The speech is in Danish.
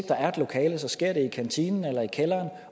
der er et lokale sker det i kantinen eller i kælderen